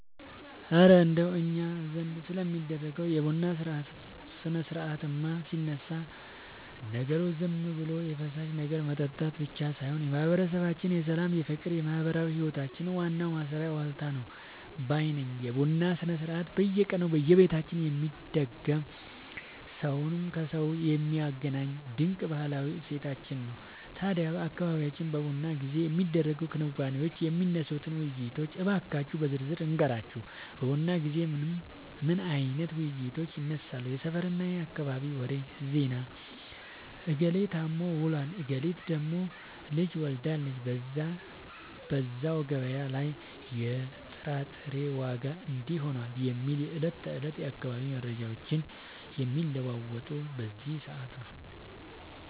እረ እንደው እኛ ዘንድ ስለሚደረገው የቡና ሥርዓትማ ሲነሳ፣ ነገሩ ዝም ብሎ የፈሳሽ ነገር መጠጣት ብቻ ሳይሆን የማህበረሰባችን የሰላም፣ የፍቅርና የማህበራዊ ህይወታችን ዋናው ማሰሪያ ዋልታ ነው ባይ ነኝ! የቡና ሥርዓት በየቀኑ በየቤታችን የሚደገም፣ ሰውን ከሰው የሚያገናኝ ድንቅ ባህላዊ እሴታችን ነው። ታዲያ በአካባቢያችን በቡና ጊዜ የሚደረጉትን ክንዋኔዎችና የሚነሱትን ውይይቶች እንካችሁ በዝርዝር ልንገራችሁ፦ በቡና ጊዜ ምን አይነት ውይይቶች ይነሳሉ? የሰፈርና የአካባቢ ወሬ (ዜና)፦ "እገሌ ታሞ ውሏል፣ እገሊት ደግሞ ልጅ ወልዳለች፣ በዛሬው ገበያ ላይ የጥራጥሬ ዋጋ እንዲህ ሆኗል" የሚሉ የዕለት ተዕለት የአካባቢው መረጃዎች የሚለዋወጡት በዚህ ሰዓት ነው።